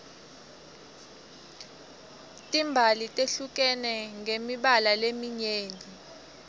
timbali tehlukene ngemibala leminyeni